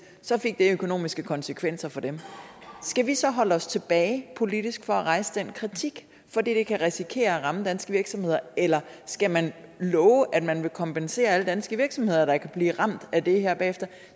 så fik det økonomiske konsekvenser for dem skal vi så holde os tilbage politisk fra at rejse den kritik fordi det kan risikere at ramme danske virksomheder eller skal man love at man vil kompensere alle danske virksomheder der kan blive ramt af det her bagefter